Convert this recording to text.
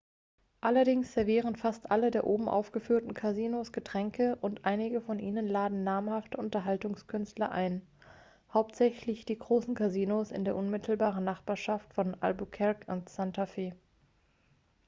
allerdings servieren fast alle der oben aufgeführten casinos getränke und einige von ihnen laden namhafte unterhaltungskünstler ein hauptsächlich die großen casinos in der unmittelbaren nachbarschaft von albuquerque und santa fe